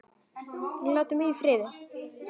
Og láti mig í friði.